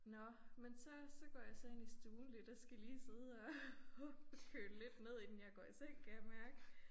Nåh men så så går jeg så ind i stuen lidt og skal lige sidde og og køle lidt ned inden jeg går i seng kan jeg mærke